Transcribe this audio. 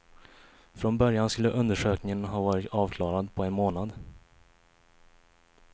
Från början skulle undersökningen ha varit avklarad på en månad.